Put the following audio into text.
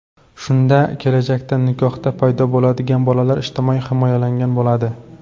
Shunda kelajakda nikohda paydo bo‘ladigan bolalar ijtimoiy himoyalangan bo‘ladi.